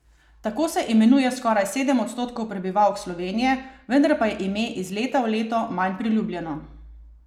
Tako se imenuje skoraj sedem odstotkov prebivalk Slovenije, vendar pa je ime iz leta v leto manj priljubljeno.